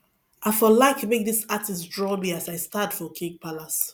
i for like make this artist draw me as i stand for king palace